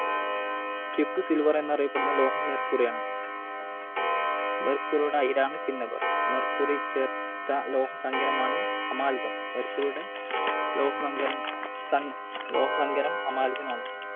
Quick Silver എന്നറിയപ്പെടുന്ന ലോഹം Mercury ആണ്. Mercury യുടെ അയിരാണ് Cinnabar. Mercury ചേർത്ത ലോഹസങ്കരമാണ് Amalgam. Mercury യുടെ ലോഹസങ്കരം~ലോഹസങ്കരം Amalgam മാണ്.